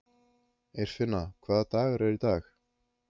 Eirfinna, hvaða dagur er í dag?